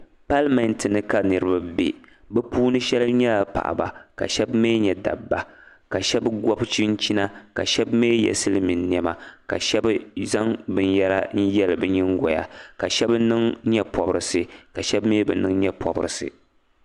Pallimentini ka niribi bɛ shɛb nyɛla paɣi ba ka shɛb mi nyɛ dab ba ka shɛb gobi chichina ka shɛbi mi ye silimiin nema zaŋ binyɛra n yɛ biniŋgoya ka shɛb niŋ nyepobirisi la shɛ mi bɛ niŋ nyɛ pobirisi